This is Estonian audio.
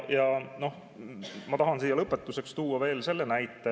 Lõpetuseks tahan tuua veel ühe näite.